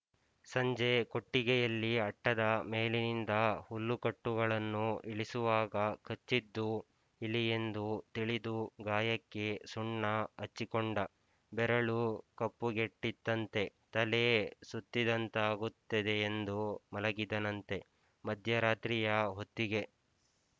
ಸಂಜೆ ಕೊಟ್ಟಿಗೆಯಲ್ಲಿ ಅಟ್ಟದ ಮೇಲಿನಿಂದ ಹುಲ್ಲುಕಟ್ಟುಗಳನ್ನು ಇಳಿಸುವಾಗ ಕಚ್ಚಿದ್ದು ಇಲಿಯೆಂದು ತಿಳಿದು ಗಾಯಕ್ಕೆ ಸುಣ್ಣ ಹಚ್ಚಿಕೊಂಡ ಬೆರಳು ಕಪ್ಪುಗೆಟ್ಟಿತ್ತಂತೆ ತಲೆ ಸುತ್ತಿದಂತಾಗುತ್ತದೆಯೆಂದು ಮಲಗಿದನಂತೆ ಮಧ್ಯರಾತ್ರಿಯ ಹೊತ್ತಿಗೆ